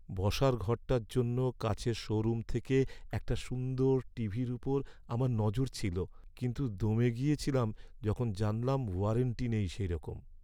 বসার ঘরটার জন্য কাছের শোরুম থেকে একটা সুন্দর টিভির ওপর আমার নজর ছিল, কিন্তু দমে গেছিলাম যখন জানলাম ওয়ারেন্টি নেই সেইরকম।